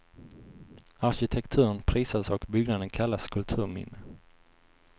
Arkitekturen prisas och byggnaden kallas kulturminne.